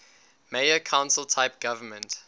mayor council type government